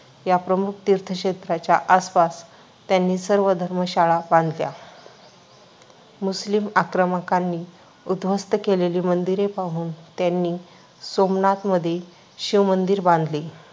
या प्रमुख तीर्थक्षेत्राच्या आसपास त्यांनी या सर्व धर्मशाळा बांधल्या. मुस्लिम आक्रमकांनी उद्ध्वस्त केलेली मंदिरे पाहून त्यांनी सोमनाथमध्ये शिवमंदिर बांधले.